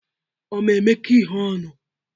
Ọ ma-emekọ ihe ọnụ?